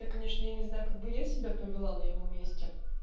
я конечно я не знаю как бы я себя повела на его месте